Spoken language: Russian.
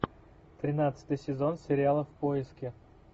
тринадцатый сезон сериала в поиске